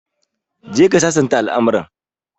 Go and resolve the issue